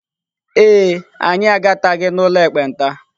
Ee e, anyị agataghị n'ụlọ ekpenta.